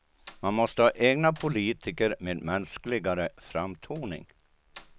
Man måste ha egna politiker med mänskligare framtoning.